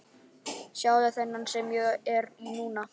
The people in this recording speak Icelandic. Sjáðu þennan sem ég er í núna?